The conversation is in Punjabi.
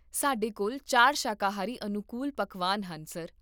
ਸਾਡੇ ਕੋਲ ਚਾਰ ਸ਼ਾਕਾਹਾਰੀ ਅਨੁਕੂਲ ਪਕਵਾਨ ਹਨ, ਸਰ